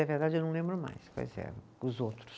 É verdade, eu não lembro mais quais eram os outros.